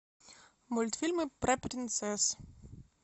мультфильмы про принцесс